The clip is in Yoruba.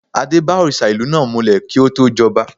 Adé bá òrìṣà ìlú náà mulẹ̀ kí ó tó jọba.